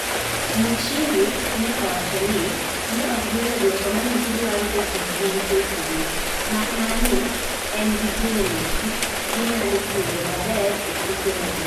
Muchiri ne owachoni ne ok giyudo dwoko mane gidwaro etukgi gi KCB, makmana ni en gi geno gi nyalo tugo maber e tuke mabiro